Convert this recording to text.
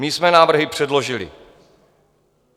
My jsme návrhy předložili.